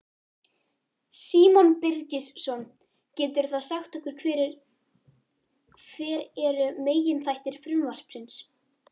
Símon Birgisson: Geturðu þá sagt okkur hver eru meginþættir frumvarpsins?